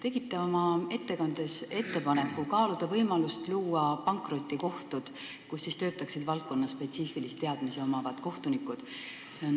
Te tegite oma ettekandes ettepaneku kaaluda võimalust luua pankrotikohtud, kus töötaksid valdkonnaspetsiifiliste teadmistega kohtunikud.